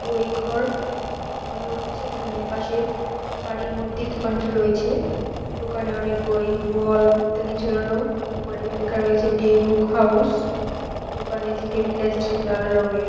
বই ঘর মনে হচ্ছে যেখানে পাশের বাড়ির মধ্যে দোকানটি রয়েছে দোকানে অনেক বই বল ইত্যাদি ঝোলানো উপরে লেখা রয়েছে ডে বুক হাউস দোকানে যে টেবিলটা আছে সেগুলো লাল রঙের।